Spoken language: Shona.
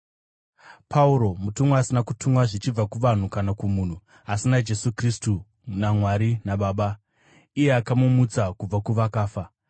Pauro mupostori, asina kutumwa zvichibva kuvanhu kana kumunhu, asi naJesu Kristu naMwari Baba, iye akamumutsa kubva kuvakafa,